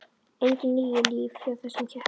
Engin níu líf hjá þessum ketti.